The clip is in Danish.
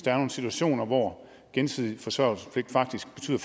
er nogle situationer hvor gensidig forsørgelsespligt faktisk betyder